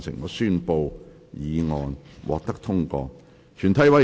我宣布議案獲得通過。